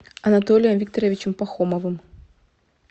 анатолием викторовичем пахомовым